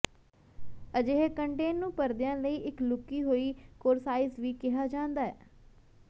ਅਜਿਹੇ ਕੰਟੇਨ ਨੂੰ ਪਰਦੇਾਂ ਲਈ ਇੱਕ ਲੁਕੀ ਹੋਈ ਕੌਰਸਾਈਸ ਵੀ ਕਿਹਾ ਜਾਂਦਾ ਹੈ